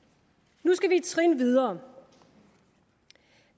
nu skal vi et trin videre